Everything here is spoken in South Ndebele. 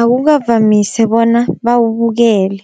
akukavamise bona bawubukele.